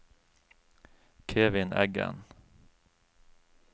Kevin Eggen